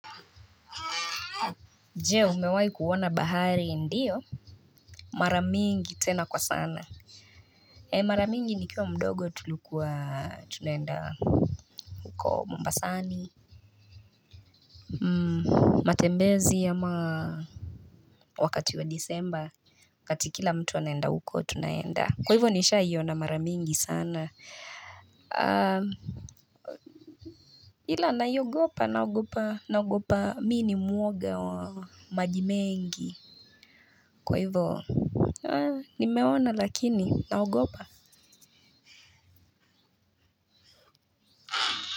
Je, umewahi kuona bahari? Ndiyo. Mara mingi tena kwa sana. Mara nyingi nikiwa mdogo tulikuwa tunaenda huko Mombasani. Matembezi ama wakati wa Desemba. Wakato kila mtu anaenda huko, tunaenda, kwa hivyo, nishawahi iona mara nyingi sana. Ila naigopa, nagopa, naogopa, mini muoga wa maji mengi. Kwa hivyo nimeona lakini naogopa.